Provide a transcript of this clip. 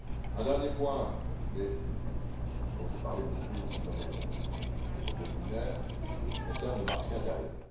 Un dernier point, mais dont j'ai aussi beaucoup parlé dans mes propos liminaires, concerne le marché intérieur.